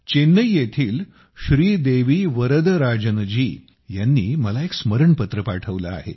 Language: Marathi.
चेन्नई येथील श्रीदेवी वर्दराजनजी यांनी मला एक स्मरणपत्र पाठवले आहे